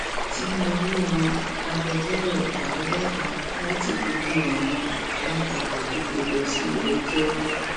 tinúbú yan agbẹjọrò àádọta láti kojú àwọn alátakò tó gbé e lọ síléẹjọ